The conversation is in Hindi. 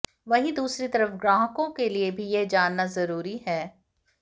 वहीं दूसरी तरफ ग्राहकों के लिए भी यह जानना जरूरी है